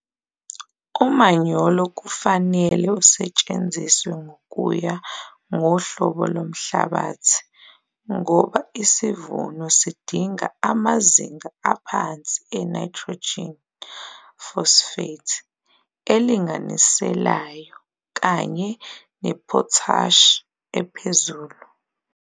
Umanyolo kufanele usetshenziswe ngokuya ngohlobo lomhlabathi ngoba isivuno sidinga amazinga aphansi e-nitrogen, phosphate elinganiselayo kanye ne-potash ephezulu.